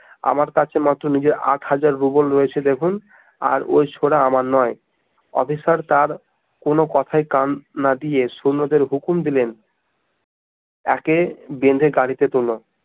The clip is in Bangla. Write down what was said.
আমার কাছে নিজের আট হাজার রুবেল রয়েছে দেখুন আর ওই ছোরা আমার নয় অফিসার তার কোনো কথায় কান না দিয়ে সৈন্যদের হুকুম দিলেন, একে ভেন দের গাড়ি তে তুলো